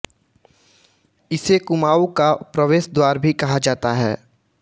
इसे कुमाऊँ का प्रवेश द्वार भी कहा जाता है